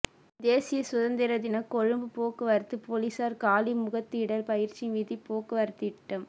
தேசிய சுதந்திரதினம் கொழும்பு போக்குவரத்து பொலிஸார் காலி முகத்திடல் பயிற்சி வீதிப் போக்குவரத்துத்திட்டம்